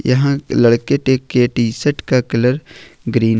यहां लड़के टे के टी शर्ट का कलर ग्रीन हैं।